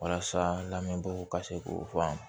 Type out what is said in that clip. Walasa lamɛnbagaw ka se k'o fɔ an ye